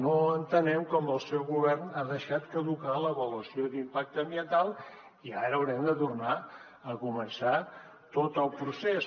no entenem com el seu govern ha deixat caducar l’avaluació d’impacte ambiental i ara haurem de tornar a començar tot el procés